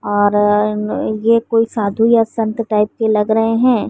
और ये कोई साधु या संत टाइप के लग रहे हैं।